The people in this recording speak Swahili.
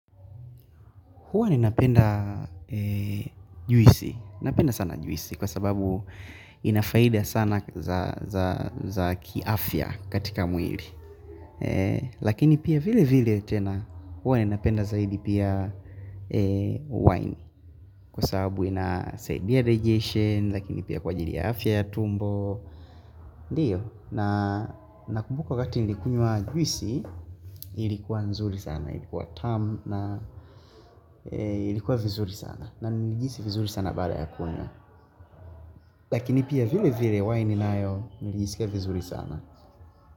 Huwa ninapenda juisi Napenda sana juisi Kwa sababu inafaida sana za kiafya katika mwili Lakini pia vile vile tena huwa ni napenda zaidi pia wine Kwa sababu ina saidia digetion Lakini pia kwa ajili ya afya ya tumbo Ndiyo nakumbuka wakati nilikunywa juisi Ilikuwa nzuri sana Ilikuwa tamu na ilikuwa vizuri sana na nilihisi vizuri sana baada ya kunywa Lakini pia vile vile waini nayo nilisikia vizuri sana.